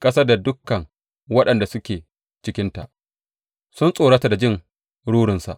Ƙasar da dukan waɗanda suke cikinta sun tsorata da jin rurinsa.